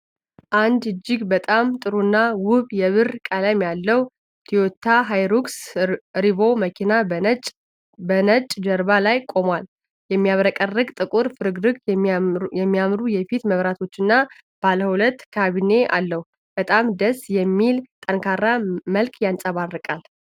አንድ እጅግ በጣም ጥሩና ውብ የብር ቀለም ያለው ቶዮታ ሃይሉክስ ሪቮ መኪና በነጭ ጀርባ ላይ ቆሟል። የሚያብረቀርቅ ጥቁር ፍርግርግ፣ የሚያምሩ የፊት መብራቶችና ባለሁለት ካቢኔ አለው። በጣም ደስ የሚል ጠንካራ መልክ ያንጸባርቃል።